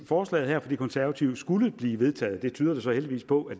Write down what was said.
forslaget her fra de konservative skulle blive vedtaget det tyder det så heldigvis på at